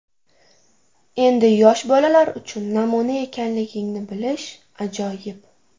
Endi yosh bolalar uchun namuna ekanligingni bilish ajoyib.